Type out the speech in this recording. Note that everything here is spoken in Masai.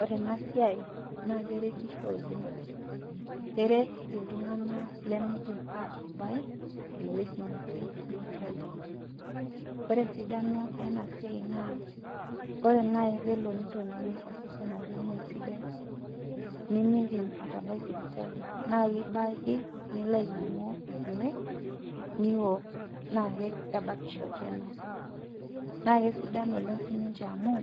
Ore enasiai, naa keretisho oleng'. Keret iltung'anak limiidim atabai, ewueji natii sipitali. Ore esidano enasiai naa, ore nai pelo nitoning'o osesen ajo meesidae, nimiidim atabai sipitali, na kibake nilo ainyang'u irkeek, niwok. Naa kebakisho tena. Na kesidan oleng' sininche amu,